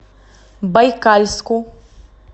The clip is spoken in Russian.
байкальску